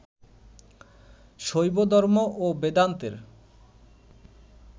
শৈবধর্ম ও বেদান্তের